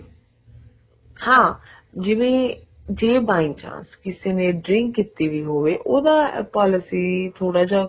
ਹਾਂ ਜਿਵੇਂ ਜੇ by chance ਜੇ ਕਿਸੇ ਨੇ drink ਕੀਤੀ ਹੋਵੇ ਉਹਦਾ ਆਪਾਂ ਮਤਲਬ ਕੇ ਥੋੜਾ ਜਾ